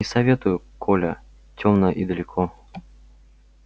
не советую коля темно и далеко